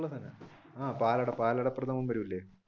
ആഹ് പാലട പാലടപ്രഥമൻ വരൂലേ?